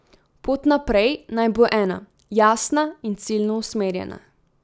Pot naprej naj bo ena, jasna in ciljno usmerjena.